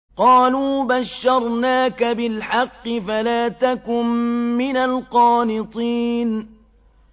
قَالُوا بَشَّرْنَاكَ بِالْحَقِّ فَلَا تَكُن مِّنَ الْقَانِطِينَ